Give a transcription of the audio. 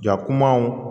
Jakumaw